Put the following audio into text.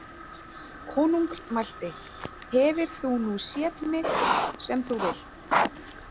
Konungr mælti: „Hefir þú nú sét mik sem þú vilt“?